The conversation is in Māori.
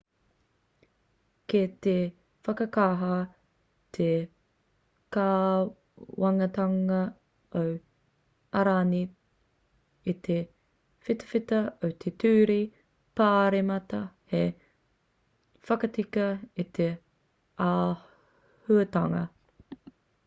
kei te whakakaha te kāwanatanga o airani i te whitawhita o te ture pāremata hei whakatika i te āhuatanga